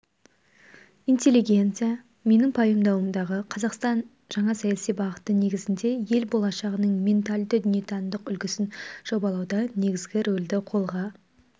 интеллигенция менің пайымдауымдағы қазақстан жаңа саяси бағыты негізінде ел болашағының ментальді дүниетанымдық үлгісін жобалауда негізгі рөлді қолға